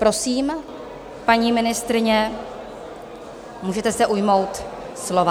Prosím, paní ministryně, můžete se ujmout slova.